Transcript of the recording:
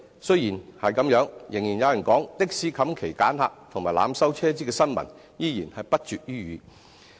雖然如此，仍然有人說，的士"冚旗揀客"及濫收車資的新聞依然不絕於耳。